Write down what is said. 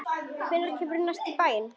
Hvenær kemurðu næst í bæinn?